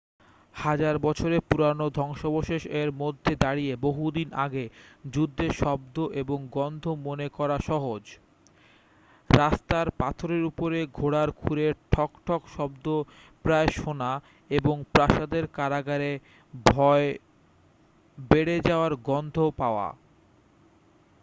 হাজার বছরের পুরানো ধ্বংসাবশেষ এর মধ্যে দাঁড়িয়ে বহু দিন আগের যুদ্ধের শব্দ এবং গন্ধ মনে করা সহজ রাস্তার পাথরের উপরে ঘোড়ার খুরের ঠকঠক শব্দ প্রায় শোনা এবং প্রাসাদের কারাগারে ভয় বেড়ে যাওয়ার গন্ধ পাওয়া